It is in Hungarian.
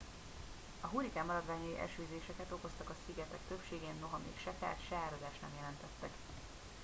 a hurrikán maradványai esőzéseket okoztak a szigetek többségén noha még se kárt se áradást nem jelentettek